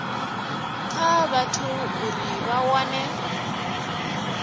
kha vhathu uri vha wane